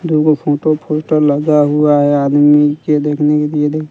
दु गो photo poster लगा हुआ है आदमी के देखने के लिए--